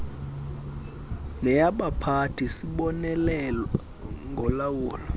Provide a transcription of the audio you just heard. neyabaphathi sibonelelo ngolawulo